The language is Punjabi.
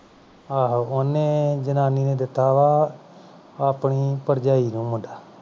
ਆਹੋ ਉਹਨੇ ਜਨਾਨੀ ਨੇ ਦਿਤਾ ਵਾ ਆਪਣੀ ਭਰਜਾਈ ਨੂੰ ਮੁੰਡਾ